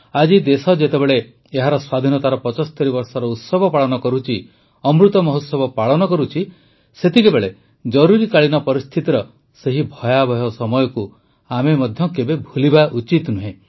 ଆଜି ଦେଶ ଯେତେବେଳେ ଏହାର ସ୍ୱାଧୀନତାର ୭୫ ବର୍ଷର ଉତ୍ସବ ପାଳନ କରୁଛି ଅମୃତ ମହୋତ୍ସବ ପାଳନ କରୁଛି ସେତେବେଳେ ଜରୁରୀକାଳୀନ ପରିସ୍ଥିତିର ସେହି ଭୟାବହ ସମୟକୁ ଆମେ କେବେହେଲେ ଭୁଲିବା ଉଚିତ ନୁହେଁ